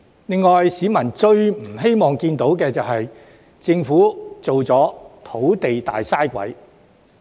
另外，市民最不希望看到政府淪為土地方面的"大嘥鬼"。